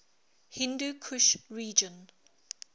hindu kush region